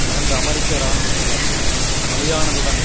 இரண்டு அமெரிக்க இராணுவத்தினர் பலியானதுடன்